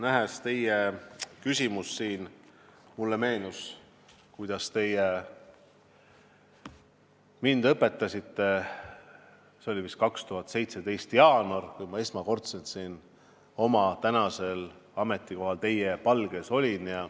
Nähes teid siin, mulle meenus, kuidas te mind õpetasite, see oli vist 2017. aasta jaanuaris, kui ma esmakordselt, olles oma tänasel ametikohal, teie palge ees olin.